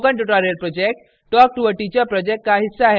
spoken tutorial project talk to a teacher project का हिस्सा है